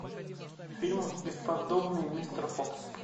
фильм бесподобный мистер фокс